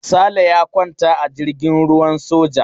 Sale ya kwanta a jirgin ruwan soja.